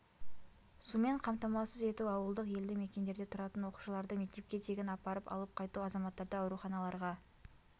сумен қамтамасыз ету ауылдық елді мекендерде тұратын оқушыларды мектепке тегін апарып алып қайту азаматтарды ауруханаларға